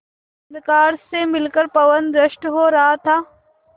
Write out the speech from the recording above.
अंधकार से मिलकर पवन दुष्ट हो रहा था